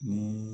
Ni